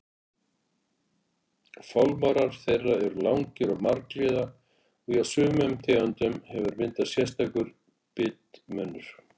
Fálmarar þeirra eru langir og margliða og hjá sumum tegundum hefur myndast sérstakur bitmunnur.